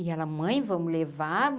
E ela, mãe, vamos levar.